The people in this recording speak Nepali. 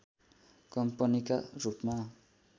कम्पनीका रूपमा